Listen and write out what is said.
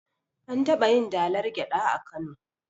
An taɓayin dalar gyaɗa a kano